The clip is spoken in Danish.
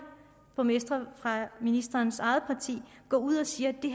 borgmestre fra ministerens eget parti går ud og siger at det